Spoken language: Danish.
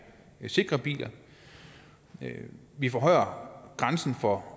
sikker bil vi vi forhøjer grænsen for